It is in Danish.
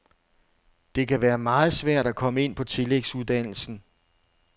Det kan være meget svært at komme ind på tillægsuddannelsen.